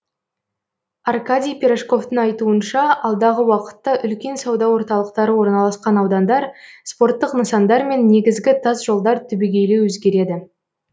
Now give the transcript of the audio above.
аркадий пирожковтың айтуынша алдағы уақытта үлкен сауда орталықтары орналасқан аудандар спорттық нысандар мен негізгі тасжолдар түбегейлі өзгереді